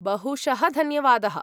बहुशः धन्यवादः।